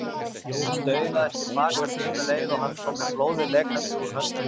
Og staulaðist til baka sömu leið og hann kom með blóðið lekandi úr höndunum.